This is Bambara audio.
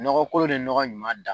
Nɔgɔ kolo ni ɲɔgɔ ɲuman da.